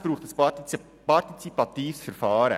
Es braucht ein partizipatives Verfahren.